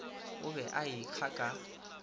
o be a ekga ka